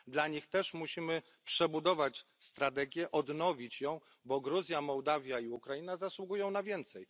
Dla nich też musimy przebudować strategię i odnowić ją, bo Gruzja, Mołdawia i Ukraina zasługują na więcej.